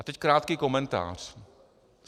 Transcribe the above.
A teď krátký komentář.